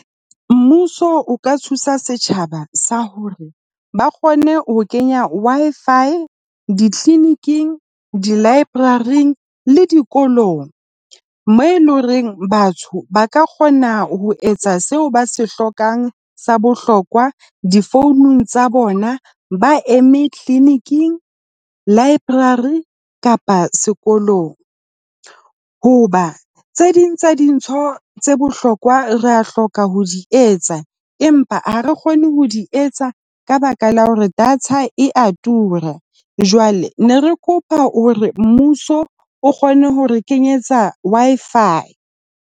Mmuso o ka thusa setjhaba sa hore ba kgone ho kenya Wi-Fi di-clinic-ing, di-library le dikolong moo e leng horeng batho ba ka kgona ho etsa seo ba se hlokang. Sa bohlokwa difounung tsa bona, ba eme clinic-ing, library kapa sekolong. Hoba tse ding tsa dintho tse bohlokwa ra hloka ho di etsa, empa ha re kgone ho di etsa ka baka la hore data e a tura. Jwale ne re kopa hore mmuso o kgone hore kenyetsa Wi-Fi.